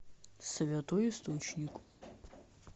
святой источник